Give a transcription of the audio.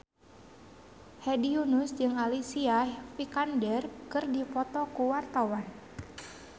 Hedi Yunus jeung Alicia Vikander keur dipoto ku wartawan